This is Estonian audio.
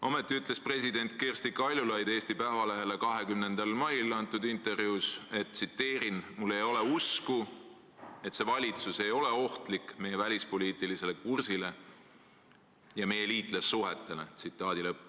Ometi ütles president Kersti Kaljulaid Eesti Päevalehele 20. mail antud intervjuus: "Mul ei ole usku, et see valitsus ei ole ohtlik meie välispoliitilisele kursile ja meie liitlassuhetele.